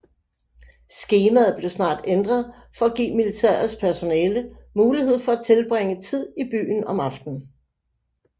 Skemaet blev snart ændret for at give militærets personale mulighed for at tilbringe tid i byen om aftenen